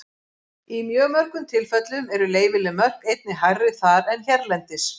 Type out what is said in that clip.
Í mjög mörgum tilfellum eru leyfileg mörk einnig hærri þar en hérlendis.